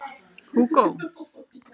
Húgó